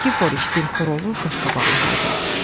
Nikiforiç dilxor olub qaşqabaqlı halda.